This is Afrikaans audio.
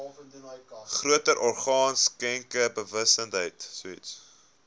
groter orgaan skenkersbewustheid